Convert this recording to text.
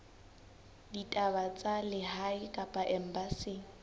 ditaba tsa lehae kapa embasing